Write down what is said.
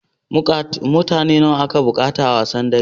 Mutane nawa ake buƙata a wasan dara?